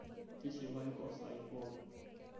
tishipayu too saa ai pookin